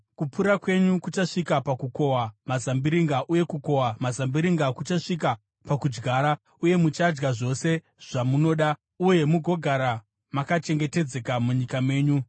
Kupura kwenyu kuchasvika pakukohwa mazambiringa uye kukohwa mazambiringa kuchasvika pakudyara, uye muchadya zvose zvamunoda uye mugogara makachengetedzeka munyika menyu.